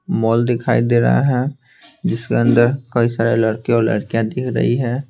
Mall दिखाई दे रहा है जिसके अंदर कई सारे लड़के और लड़कियां दिख रही है।